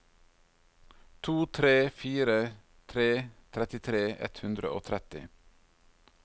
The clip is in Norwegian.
to tre fire tre trettitre ett hundre og tretti